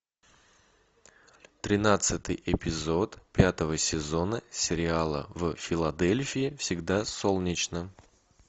тринадцатый эпизод пятого сезона сериала в филадельфии всегда солнечно